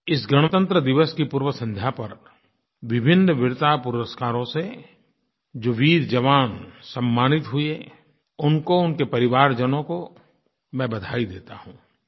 इस गणतंत्र दिवस की पूर्व संध्या पर विभिन्न वीरता पुरस्कारों से जो वीरजवान सम्मानित हुए उनको उनके परिवारजनों को मैं बधाई देता हूँ